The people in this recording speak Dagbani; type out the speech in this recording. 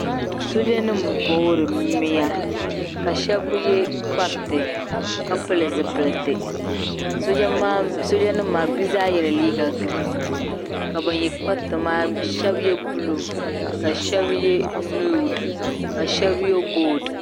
soojanima n-voori mia ka shɛba ye kpariti ka pili zipiliti soojanima maa bɛ zaa yɛla liiga girin ka ban ye kpariti maa shɛba ye buluu ka shɛba ye noodi ka shɛba ye golidi